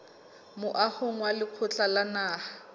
moahong wa lekgotla la naha